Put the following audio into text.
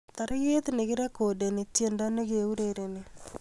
Tarik nekirekodeni tiendo nekiurereni